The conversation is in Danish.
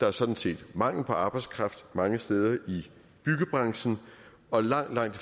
er sådan set mangel på arbejdskraft mange steder i byggebranchen og langt langt